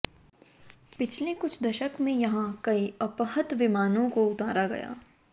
पिछले कुछ दशक में यहां कई अपहृत विमानों को उतारा गया